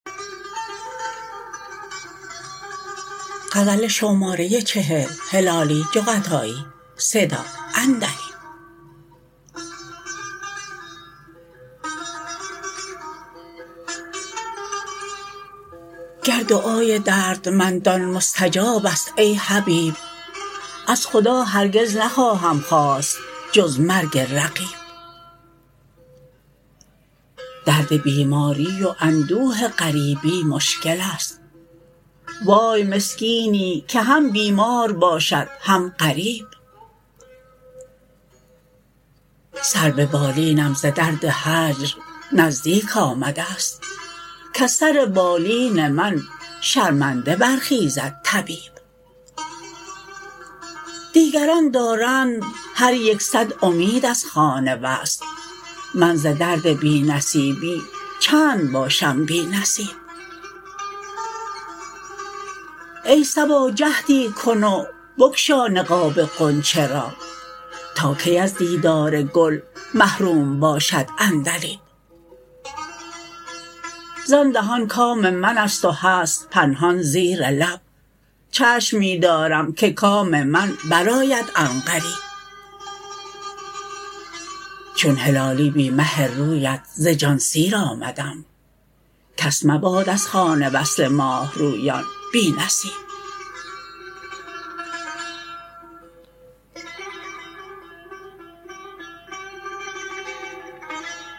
گر دعای دردمندان مستجابست ای حبیب از خدا هرگز نخواهم خواست جز مرگ رقیب درد بیماری و اندوه غریبی مشکلست وای مسکینی که هم بیمار باشد هم غریب سر ببالینم ز درد هجر نزدیک آمدست کز سر بالین من شرمنده برخیزد طبیب دیگران دارند هر یک صد امید از خوان وصل من ز درد بی نصیبی چند باشم بی نصیب ای صبا جهدی کن و بگشا نقاب غنچه را تا کی از دیدار گل محروم باشد عندلیب زان دهان کام منست و هست پنهان زیر لب چشم می دارم که کام من برآید عنقریب چون هلالی بی مه رویت ز جان سیر آمدم کس مباد از خوان وصل ماهرویان بی نصیب